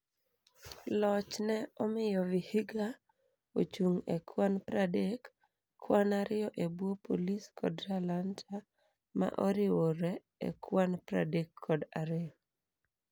Loch ne omiyo vihiga ochung e kwan pradek, kwan ariyo ebwo police kod Talanta ma oriwore e kwan pradek kod ariyo